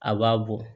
A b'a bɔ